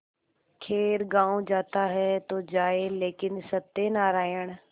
खैर गॉँव जाता है तो जाए लेकिन सत्यनारायण